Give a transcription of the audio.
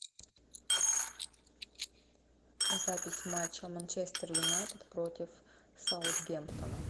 запись матча манчестер юнайтед против саутгемптона